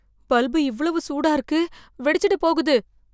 bulb இவ்வளவு சூடா இருக்கு வெடிச்சிட போகுது